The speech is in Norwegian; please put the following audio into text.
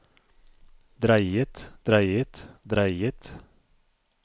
dreiet dreiet dreiet